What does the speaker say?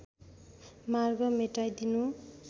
मार्ग मेटाई दिनु